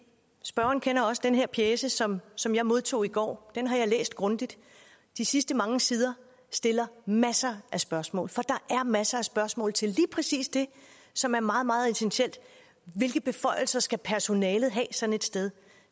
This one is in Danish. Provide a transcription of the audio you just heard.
spørgeren kender også den her pjece som som jeg modtog i går den har jeg læst grundigt de sidste mange sider stiller masser af spørgsmål for der er masser af spørgsmål til lige præcis det som er meget meget essentielt hvilke beføjelser skal personalet have sådan et sted